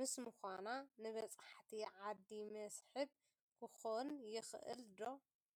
ምስ ምዃና ንበፃሕቲ ዓዲ መስሕብ ክኸውን ይኽእል ዶ?